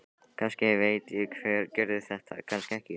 Kannski veit ég hver gerði þetta, kannski ekki.